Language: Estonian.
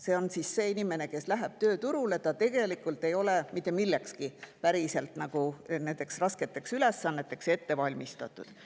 See on see inimene, kes läheb tööturule ja ei ole tegelikult mitte millekski, eriti rasketeks ülesanneteks ette valmistatud.